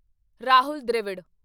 Rahul Dravid